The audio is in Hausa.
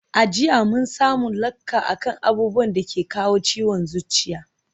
A jiya mun samu lacca akan abubuwan dake kawo ciwon zuciya